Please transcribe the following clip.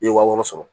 I ye wa wɔɔrɔ sɔrɔ